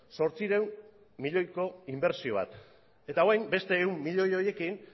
zortziehun milioiko inbertsio bat eta orain beste ehun milioi horiekin